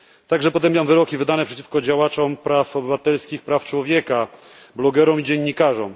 Także potępiam wyroki wydane przeciwko działaczom praw obywatelskich, praw człowieka, blogerom i dziennikarzom.